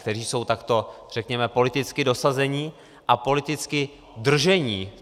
Kteří jsou takto, řekněme, politicky dosazeni a politicky drženi.